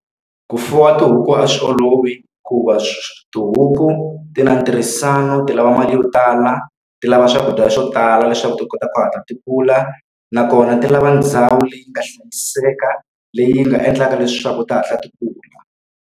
Ku fuwa tihuku a swi olovi, hikuva tihuku ti na ntirhisano, ti lava mali yo tala, ti lava swakudya swo tala leswaku ti kota ku hatla ti kula. Nakona ti lava ndhawu leyi nga hlayiseka, leyi nga endlaka leswaku ti hatla ti kula.